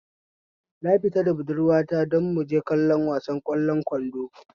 Na fita da budurwa ta don muje kallon wasan ƙwallon kwando